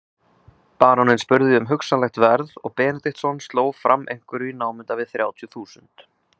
Baróninn spurði um hugsanlegt verð og Benediktsson sló fram einhverju í námunda við þrjátíu þúsund.